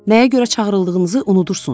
Nəyə görə çağırıldığınızı unudursunuz?